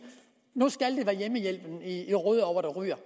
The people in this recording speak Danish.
nu skal i rødovre der ryger